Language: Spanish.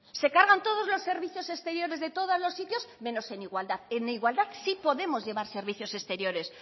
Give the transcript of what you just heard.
se cargan todos los servicios exteriores de todos los sitios menos en igualdad en igualdad sí podemos llevar servicios exteriores